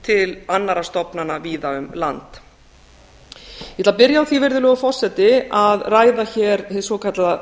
til annarra stofnana víða um land ég ætla að byrja á því virðulegur forseti að ræða hér hið svokallaða